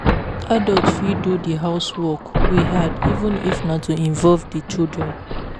Adult fit do di housework wey hard even if na to involve di children